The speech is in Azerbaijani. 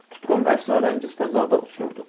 Tutqun və əsrarəngiz fəzada uçurduq.